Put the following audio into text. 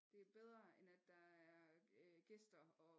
Det er bedre end at der er øh gæster og